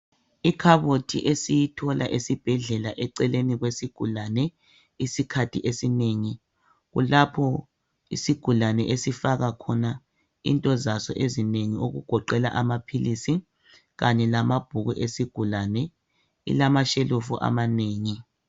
Ikhaboti esiyithola esibhedlela eceleni kwesigulani isikhathi esinengi kulapho isigulani esifaka khona into zaso ezinengi okugoqela amaphilisi kanye lamabhuku esigulani ilama tshelufu amanengi